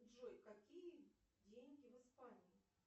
джой какие деньги в испании